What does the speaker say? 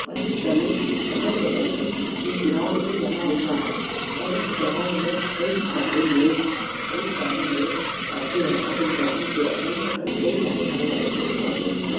और इस तले के अगल-बगल कई स एक ग्राउंड भी बना हुआ है और इस ग्राउंड में कई सारे लोग कई सारे लोग आते हैं और इस ग्राउंड के अगल-बगल कई सारे हरे भरे पेड़ पौधे भी हैं।